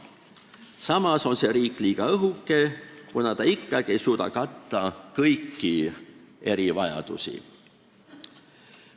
Samas on see riik liiga õhuke, kuna ta ikkagi ei suuda katta kõiki erivajadusi.